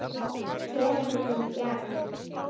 Tekur mig í gegn.